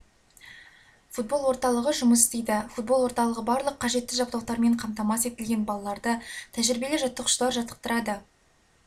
футбол орталығы жұмыс істейді футбол орталығы барлық қажетті жабдықтармен қамтамасыз етілген балаларды тәжірибелі жаттықтырушылар жаттықтырады